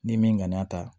Ni min ŋaniya ta